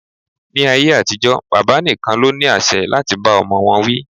Ni ayé àtijó, bàbá nìkan ló ní àṣẹ láti bá ọmọ wọn wí